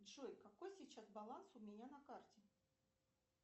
джой какой сейчас баланс у меня на карте